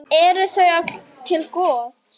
Er það öllum til góðs?